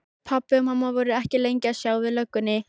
Pabbi og mamma voru ekki lengi að sjá við löggunni.